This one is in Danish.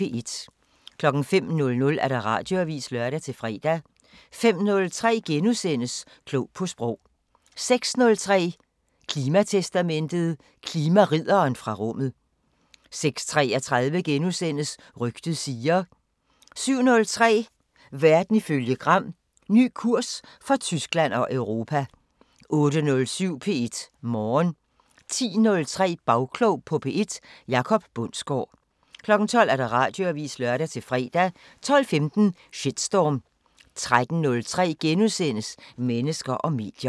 05:00: Radioavisen (lør-fre) 05:03: Klog på sprog * 06:03: Klimatestamentet: Klimaridderen fra rummet 06:33: Rygtet siger... * 07:03: Verden ifølge Gram: Ny kurs for Tyskland og Europa 08:07: P1 Morgen 10:03: Bagklog på P1: Jacob Bundsgaard 12:00: Radioavisen (lør-fre) 12:15: Shitstorm 13:03: Mennesker og medier *